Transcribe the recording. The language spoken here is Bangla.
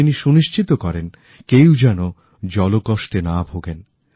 তিনি সুনিশ্চিত করেন কেউ যেন জল কষ্টে না ভোগেন